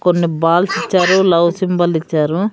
కొన్ని బాల్స్ ఇచ్చారు లవ్ సింబలిచ్చారు .